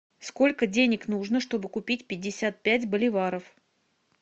сколько денег нужно чтобы купить пятьдесят пять боливаров